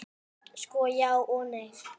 Sko, já og nei.